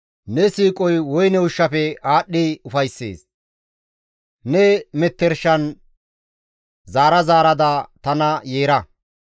«Ne siiqoy woyne ushshafe aadhdhi ufayssees; ne mettershan zaara zaaradakka tana yeera.